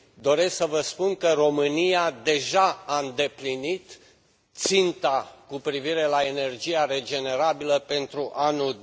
Doresc să vă spun că România deja a îndeplinit ținta cu privire la energia regenerabilă pentru anul